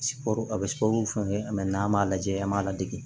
Sikɔri a bɛ sukɔro fɛngɛ n'an m'a lajɛ an b'a ladege